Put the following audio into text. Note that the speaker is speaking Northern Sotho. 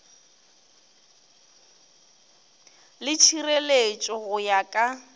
le tšhireletšo go ya ka